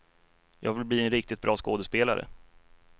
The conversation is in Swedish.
Jag vill bli en riktigt bra skådespelare.